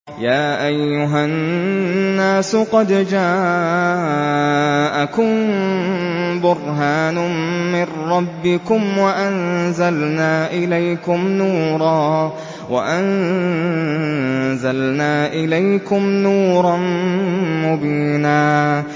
يَا أَيُّهَا النَّاسُ قَدْ جَاءَكُم بُرْهَانٌ مِّن رَّبِّكُمْ وَأَنزَلْنَا إِلَيْكُمْ نُورًا مُّبِينًا